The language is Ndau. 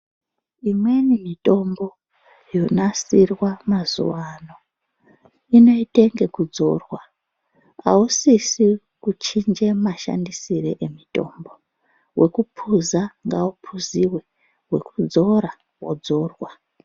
Imweni mitombo yonasirwa mazuwaano inoite ngekudzorwa. Ausisi kuchinje mashandisirwe emutombo, wekuphuza ngauphuziwe, wekudzorwa wodzorwa.